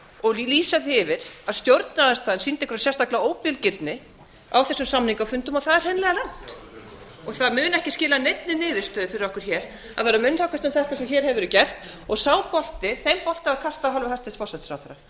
og lýsa því yfir að stjórnarandstaðan sýndi einhverja sérstaka óbilgirni á þessum samningafundum það er hreinlega rangt það mun ekki skila neinni niðurstöðu fyrir okkur hér að vera að munnhöggvast um þetta eins og hér hefur verið gert og sá bolti þeim bolta var kastað af hálfu hæstvirts forsætisráðherra